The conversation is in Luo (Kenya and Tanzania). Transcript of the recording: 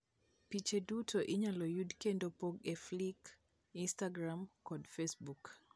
Piche duto inyalo yud kendo pog e Flickr, Instagram kod Facebook.